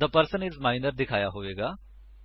ਥੇ person I S minor ਦਿਖਾਇਆ ਹੋਇਆ ਹੋਵੇਗਾ